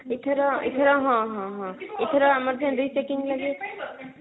ଏଥର ଏଥର ହଁ ହଁ ହଁ ଏଥର ଆମର ସେଇ rechecking ଲାଗି